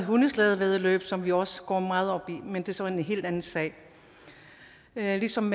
hundeslædevæddeløb som vi også går meget op i men det er så en helt anden sag ligesom